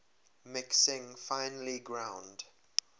mixing finely ground